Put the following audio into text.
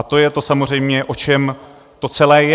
A to je to samozřejmě, o čem to celé je.